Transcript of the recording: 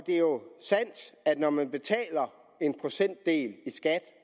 er jo sandt at når man betaler en procentdel i skat